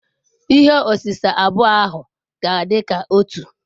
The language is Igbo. Ihe osise abụọ ahụ ga-adị ka otu.